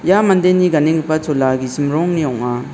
ia mandeni ganenggipa chola gisim rongni ong·a.